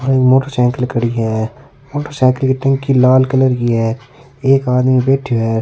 और मोटरसाइकिल खड़ी है मोटरसाइकिल की टंकी लाल कलर की है एक आदमी बैठयो है।